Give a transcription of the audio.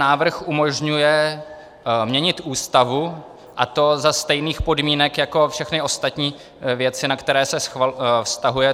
Návrh umožňuje měnit Ústavu, a to za stejných podmínek jako všechny ostatní věci, na které se vztahuje.